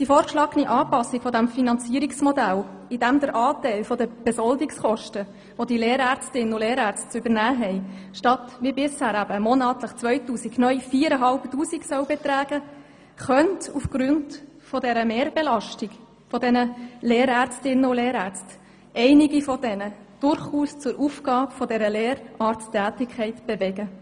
Die vorgeschlagene Anpassung dieses Finanzierungsmodells, indem der Anteil der Besoldungskosten zulasten der Lehrärztinnen und Lehrärzte statt wie bisher monatlich 2000 neu 4500 Franken betragen soll, könnte einige von ihnen durchaus zur Aufgabe dieser Lehrarzttätigkeit bewegen.